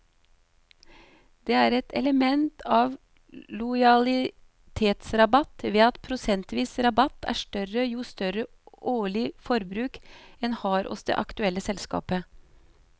Det er et element av lojalitetsrabatt ved at prosentvis rabatt er større jo større årlig forbruk en har hos det aktuelle selskapet.